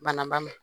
Bana ba ma